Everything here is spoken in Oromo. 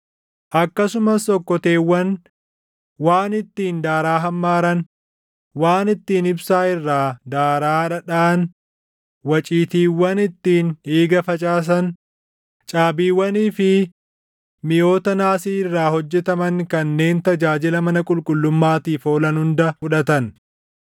Akkasumas okkoteewwan, waan ittiin daaraa hammaaran, waan ittiin ibsaa irraa daaraa dhadhaʼan, waciitiiwwan ittiin dhiiga facaasan, caabiiwwanii fi miʼoota naasii irraa hojjetaman kanneen tajaajila mana qulqullummaatiif oolan hunda fudhatan.